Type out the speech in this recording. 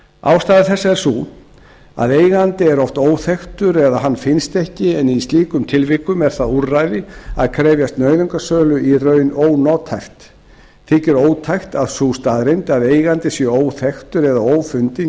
ástæða þessa er sú að eigandi er oft óþekktur eða hann finnst ekki en í slíkum tilvikum er það úrræði að krefjast nauðungarsölu í raun ónothæft þykir ótækt að sú staðreynd að eigandi sé óþekktur eða ófundinn